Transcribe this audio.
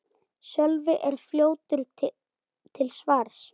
Sölvi er fljótur til svars.